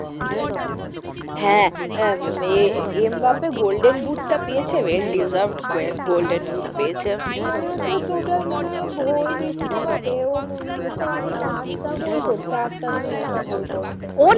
হ্যাঁ আহ Mbappe golden বুটটা পেয়েছে well deserved golden বুট পেরেছে আমার মনে হচ্ছে total মনে হয় ও ওই বিশ্ব কাপে ও মনে হয় ছটা আটটা গোল করেছে আটটা না নটা গোল করেছে অনেক,